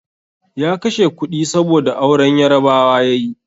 Ya kashe kudi, saboda auren Yarabawa ya yi.